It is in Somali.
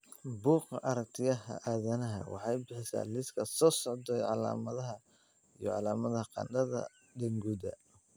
Bugga Aragtiyaha Aadanaha waxay bixisaa liiska soo socda ee calaamadaha iyo calaamadaha qandhada Denguda.